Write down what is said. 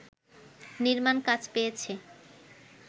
নির্মাণ কাজ পেয়েছে